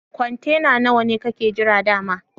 Kwantena nawa ne kakke jira da'ma?